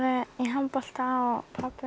handbolta og pabbi